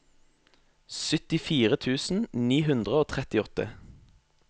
syttifire tusen ni hundre og trettiåtte